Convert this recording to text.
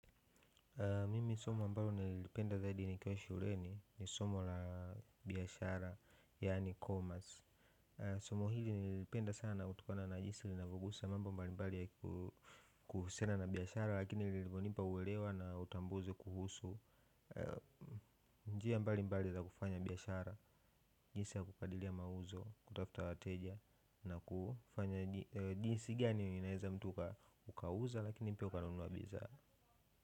Mimi somo ambalo nililipenda zaidi nikiwa shuleni ni somo la biashara yaani commerce somo hili nililipenda sana kutokana na jinsi linavyogusa mambo mbali mbali ya kuhusiana na biashara lakini lilivyonipa uelewa na utambuzi kuhusu njia mbali mbali za kufanya biashara jinsi ya kukadiria mauzo kutafuta wateja na kufanya jinsi gani ninaeza mtu ukauza lakini pia ukanunua bidhaaa.